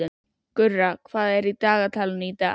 Gurra, hvað er í dagatalinu í dag?